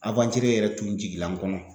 Awantiri yɛrɛ tun jigila n kɔnɔ